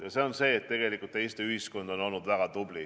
Ja see on see, et tegelikult Eesti ühiskond on olnud väga tubli.